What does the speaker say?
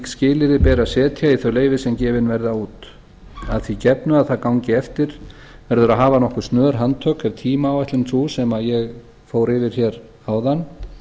skilyrði beri að setja í þau leyfi sem gefin verða út að því gefnu það það gangi eftir verður að hafa nokkur snör handtök ef tímaáætlun sú sem ég fór yfir hér áðan